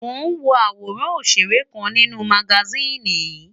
Mò ń wo àwòrán ọ̀ṣèré kan nínú magasíìnì yìí.